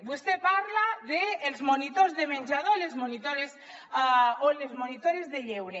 vostè parla dels monitors de menjador o les monitores de lleure